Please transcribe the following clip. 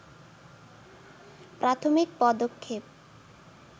প্রাথমিক পদক্ষেপ